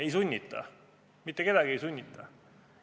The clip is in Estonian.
Ei sunnita, mitte kedagi ei sunnita!